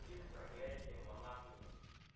фильм проклятие монахини